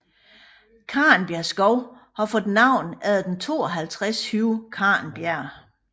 Karnbjerg Skov har fået navn efter den 52 høje Karnbjerg